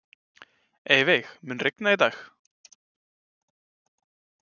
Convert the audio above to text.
Eyveig, mun rigna í dag?